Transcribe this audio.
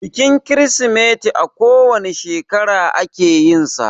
Bikin Kirsimeti a ko wane shekara ake yinsa